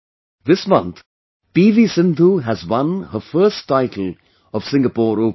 This month, PV Sindhu has won her first title of Singapore Open